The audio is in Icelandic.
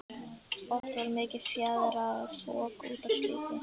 Oft varð mikið fjaðrafok út af slíku.